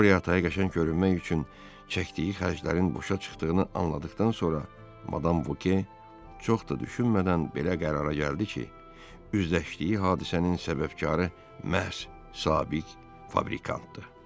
Qoriya Ataya qəşəng görünmək üçün çəkdiyi xərclərin boşa çıxdığını anladıqdan sonra Madam Voke çox da düşünmədən belə qərara gəldi ki, üzləşdiyi hadisənin səbəbkarı məhz sabit fabrikantdır.